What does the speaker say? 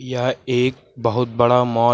यह एक बहुत बड़ा मॉल --